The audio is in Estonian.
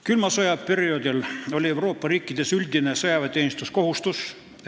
Külma sõja perioodil oli Euroopa riikides üldine sõjaväeteenistuskohustus.